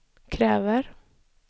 kräver